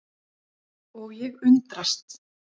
Og ég undrast.